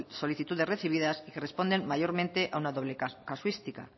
solicitudes recibidas y que responden mayormente a una doble casuística